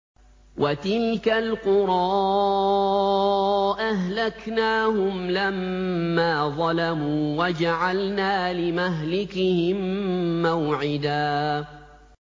وَتِلْكَ الْقُرَىٰ أَهْلَكْنَاهُمْ لَمَّا ظَلَمُوا وَجَعَلْنَا لِمَهْلِكِهِم مَّوْعِدًا